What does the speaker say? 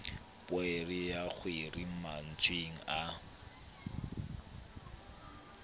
poere ya kheri matswai a